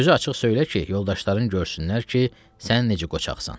Sözü açıq söylə ki, yoldaşların görsünlər ki, sən necə qoçaqsan.